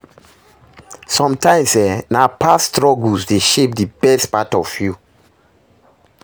Somtimes eh, na past struggles dey shape di best part of you.